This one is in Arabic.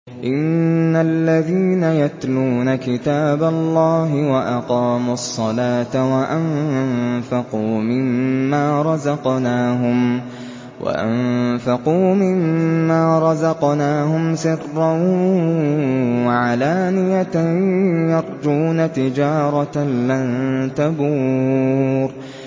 إِنَّ الَّذِينَ يَتْلُونَ كِتَابَ اللَّهِ وَأَقَامُوا الصَّلَاةَ وَأَنفَقُوا مِمَّا رَزَقْنَاهُمْ سِرًّا وَعَلَانِيَةً يَرْجُونَ تِجَارَةً لَّن تَبُورَ